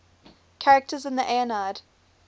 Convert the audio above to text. characters in the aeneid